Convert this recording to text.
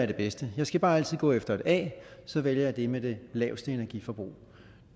det bedste man skal bare altid gå efter et a så vælger man det med det laveste energiforbrug